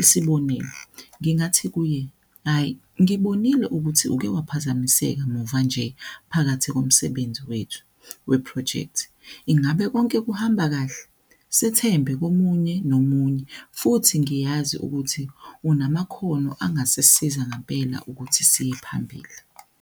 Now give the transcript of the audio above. Isibonelo, ngingathi kuye hhayi ngibonile ukuthi uke waphazamiseka muva nje, phakathi komsebenzi wethu wephrojekthi. Ingabe konke kuhamba kahle? Sethembe komunye nomunye, futhi ngiyazi ukuthi onamakhono angasisiza ngampela ukuthi siye phambili.